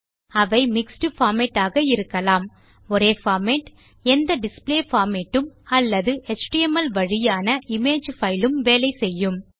அவை mixed format ஆக இருக்கலாம் ஒரே பார்மேட் எந்த டிஸ்ப்ளே பார்மேட் உம் அல்லது எச்டிஎம்எல் வழியான இமேஜ் பைல் உம் வேலை செய்யும்